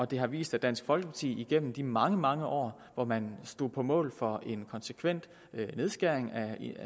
det har vist at dansk folkeparti igennem de mange mange år hvor man stod på mål for en konsekvent nedskæring af